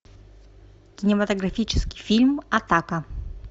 кинематографический фильм атака